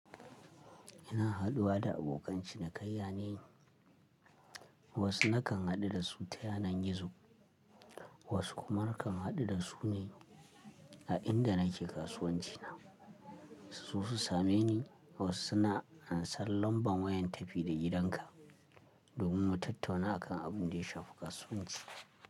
Ina haɗuwa da abokan cinikayya ne, wasu nakan haɗu da su ta yanar gizo, wasu kuma nakan haɗu da su ne a inda nake kasuwanci na. Su same ni wasu suna an san lambar wayan tafi da gidanka domin mu tattauna a kan abin da ya shafi kasuwanci.